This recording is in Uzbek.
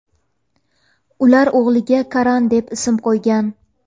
Ular o‘g‘liga Karan deb ism qo‘ygan.